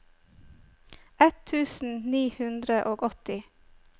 ett tusen ni hundre og åtti